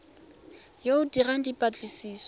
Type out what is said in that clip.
yo o dirang dipatlisiso o